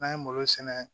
N'an ye malo sɛnɛ